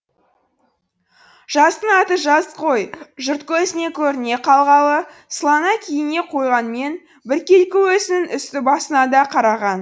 жастың аты жас қой жұрт көзіне көріне қалғалы сылана киіне қойғанмен біркелкі өзінің үсті басына да қараған